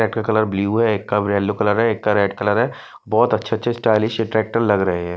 एक का colour blue है एक का रेड है बहोत अच्छे अच्छे स्टाइलिश टेक्टर लग रहे है।